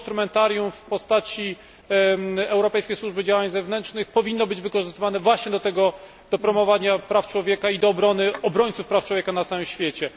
To instrumentarium w postaci Europejskiej Służby Działań Zewnętrznych powinno być wykorzystywane właśnie do promowania praw człowieka i do ochrony obrońców praw człowieka na całym świecie.